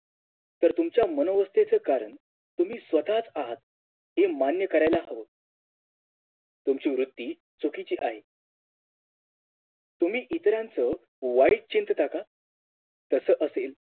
तर तुमच्या मनोवृत्तीच कारण तुम्ही स्वतः च आहात हे मान्य कराल हवं तुमची वृत्ती चुकीची आहे तुम्ही इतरांचं वाईट चिंतता का तस असेल